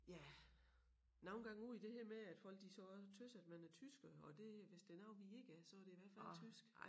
Ja nogle gange ud i det her med at folk de så også tøs at man er tysker og det hvis der noget vi ikke er så det i hvert fald tysk